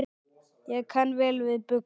Ég kann vel við buxur.